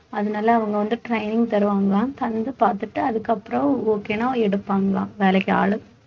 அதனால அவங்க வந்து training தருவாங்களாம் தந்து பார்த்துட்டு அதுக்கப்புறம் okay ன்னா எடுப்பாங்களாம் வேலைக்கு ஆள்